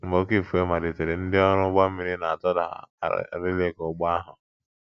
Mgbe oké ifufe malitere, ndị ọrụ ụgbọ mmiri na - atụda arịlịka ụgbọ ahụ.